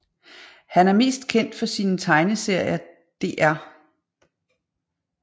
Han er mest kendt for sine tegneserier Dr